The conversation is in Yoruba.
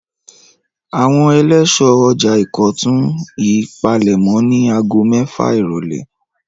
Àwọn eléso ọjà Ìkọ̀tún yìí palẹ̀mọ́ ní ago mẹ́fà ìrọ́lẹ́.